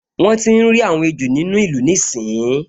Wọ́n tíi rí àwọn ejò nínú ìlú níìsín